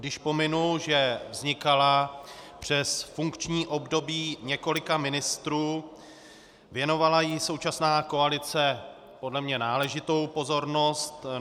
Když pominu, že vznikala přes funkční období několika ministrů, věnovala jí současná koalice podle mě náležitou pozornost.